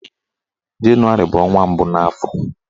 Jenụwarị bụ ọnwa mbụ n'afọ